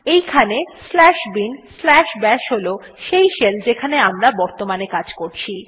এইখানে slash bin slash bash হল সেই শেল যেখানে আমরা বর্তমানে কাজ করছি